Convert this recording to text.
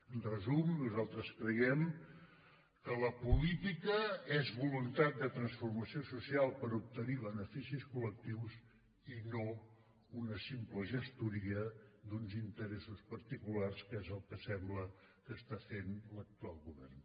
en resum nosaltres creiem que la política és voluntat de transformació social per obtenir beneficis collectius i no una simple gestoria d’uns interessos particulars que és el que sembla que està fent l’actual govern